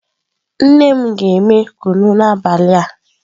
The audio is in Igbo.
Nne m ga eme kunu n'abali a.